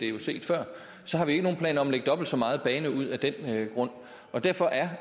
er jo set før har vi ikke nogen planer om at lægge dobbelt så meget bane ud af den grund derfor er